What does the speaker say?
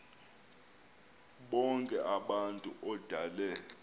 bonk abantu odale